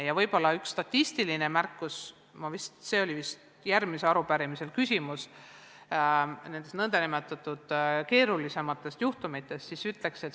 Ja teen ka ühe statistilise märkuse, see puudutab vist järgmise arupärimise küsimust keerulisemate juhtumite kohta.